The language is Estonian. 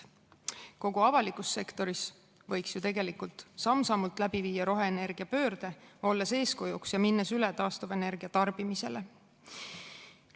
Kogu avalikus sektoris võiks ju tegelikult samm-sammult läbi viia roheenergiapöörde, olles eeskujuks ja minnes üle taastuvenergia tarbimisele.